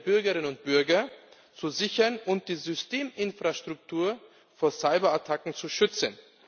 der Bürgerinnen und Bürger zu sichern und die Systeminfrastruktur vor Cyberattacken zu schützen?